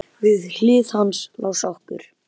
Við hlið hans lá sokkur.